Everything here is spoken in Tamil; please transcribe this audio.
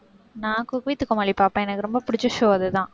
நான் cook with கோமாளி பார்ப்பேன். எனக்கு ரொம்ப பிடிச்ச show அதுதான்.